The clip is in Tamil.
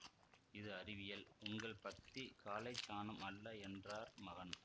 இது அறிவியல் உங்கள் பக்திக் காளைச்சாணம் அல்ல என்றார் மகன்